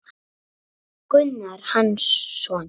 Gunnar Hansson